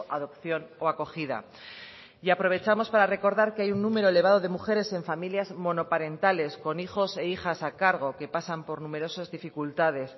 adopción o acogida y aprovechamos para recordar que hay un número elevado de mujeres en familias monoparentales con hijos e hijas a cargo que pasan por numerosas dificultades